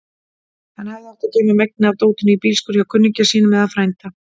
Hann hefði átt að geyma megnið af dótinu í bílskúr hjá kunningja sínum eða frænda.